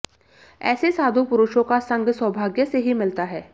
ऐसे साधु पुरुषों का संग सौभाग्य से ही मिलता है